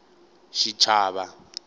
xichava